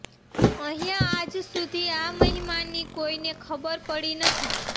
અહીંયા આજ સુધી આ મહિમાની કોઈને ખબર પડી નથી